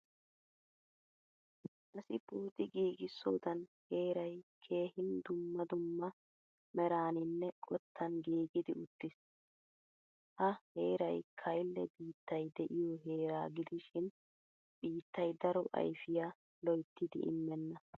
Asi pooxi giigisodan heeray keehin dumma dumma meraninne qottan giigidi uttiis. Ha heeray kaile biittay de'iyo heeraa gidishin biittay daro ayfiyaa loyttidi immena.